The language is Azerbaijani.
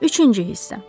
Üçüncü hissə.